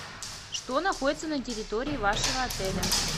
что находится на территории вашего отеля